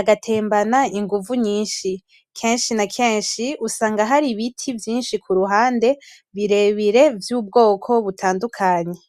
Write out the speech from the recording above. agatembana inguvu nyinshi kenshi na kenshi usanga hari Ibiti kuruhande birebire vy'ubwoko butandukanye.